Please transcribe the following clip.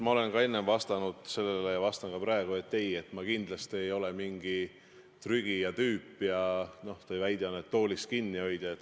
Ma olen ka enne sellele vastanud ja vastan ka praegu: ei, ma kindlasti ei ole mingi trügija tüüp ja – nagu teie väide on – toolist kinnihoidja.